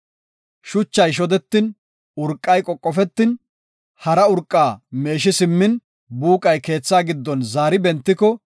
“Shuchay shodetin, urqay qoqofetin, hara urqa meeshi simmin, buuqay keethaa giddon zaari bentiko,